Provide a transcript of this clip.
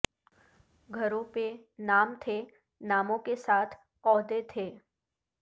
گھروں پہ نام تھے ناموں کے ساتھ عہدے تھے